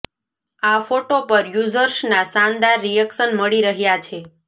આ ફોટો પર યુઝર્સના શાનદાર રિએક્શન મળી રહ્યાં છે